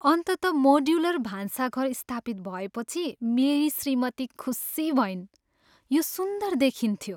अन्ततः मोड्युलर भान्साघर स्थापित भएपछि मेरी श्रीमती खुशी भइन्। यो सुन्दर देखिन्थ्यो!